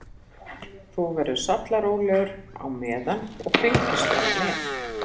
Þú verður sallarólegur á meðan og fylgist bara með.